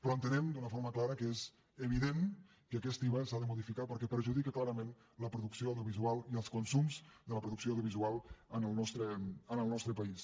però entenem d’una forma clara que és evident que aquest iva s’ha de modificar perquè perjudica clarament la producció audiovisual i els consums de la producció audiovisual en el nostre país